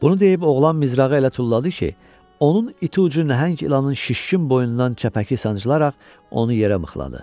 Bunu deyib oğlan mizrağı elə tulladı ki, onun iti ucu nəhəng ilanın şişkin boynundan çəpəki sancılaraq onu yerə mıxladı.